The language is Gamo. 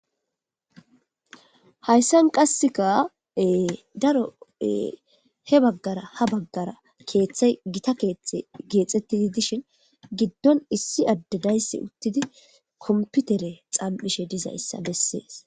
Hayssan qassekaee daroe he baggara ha baggara keeththey gita keeththe geexettidi dishin giddon issi addedayssi uttidi komputere xaam7ishe dizayssa bessees.